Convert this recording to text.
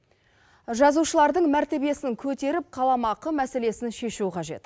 жазушылардың мәртебесін көтеріп қаламақы мәселесін шешу қажет